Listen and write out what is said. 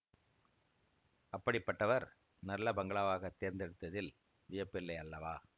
அப்படிப்பட்டவர் நல்ல பங்களாவாகத் தேர்ந்தெடுத்ததில் வியப்பில்லை அல்லவா